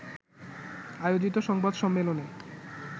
আয়োজিত সংবাদ সম্মেলনে